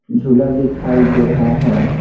झूला दिखाई दे रहा है।